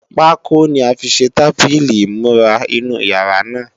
Pákó ni a fi ṣe tábìlì ìmúra inú yàrá náà